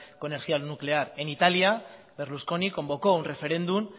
con energía nuclear en italia berlusconi convocó un referéndum